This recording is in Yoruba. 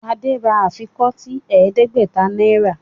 Shade rà afikọti ẹdẹgbẹta náírà